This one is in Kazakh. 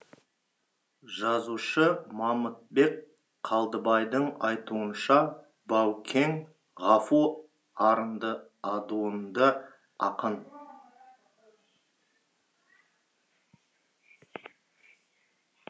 жазушы мамытбек қалдыбайдың айтуынша баукең ғафу арынды адуынды ақын